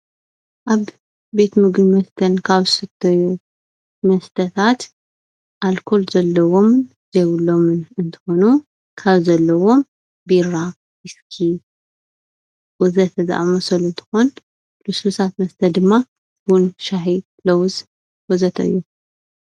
አብ ቤት ምግብን መስተን ካብ ዝስተዩ መስተታት አልኮል ዘለዎም ዘየብሎምን እንትኮኑ ካብ ዘለዎ ቢራ፣ ዊስኪ ወዘተ ዝአመሰሉ እንትኮን ልስሉሳት መስተ ድማ ቡን፣ ሻሂ፣ ለውዝ ወዘተ እዮም።